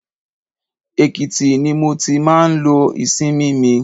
Èkìtì ni mo ti máa ń lo ìsinmi mi.